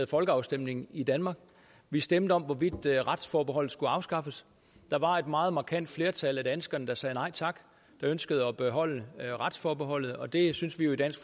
folkeafstemning i danmark vi stemte om hvorvidt retsforbeholdet skulle afskaffes og et meget markant flertal af danskerne sagde nej tak de ønskede at beholde retsforbeholdet og det synes vi jo i dansk